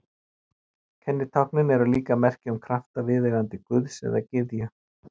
Kennitáknin eru líka merki um krafta viðkomandi guðs eða gyðju.